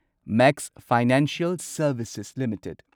max financial services limited